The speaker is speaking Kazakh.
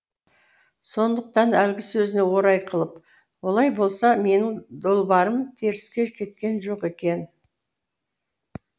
сондықтан әлгі сөзіне орай қылып олай болса менің долбарым теріске кеткен жоқ екен